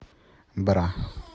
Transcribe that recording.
бра